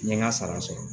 N ye n ka sara sɔrɔ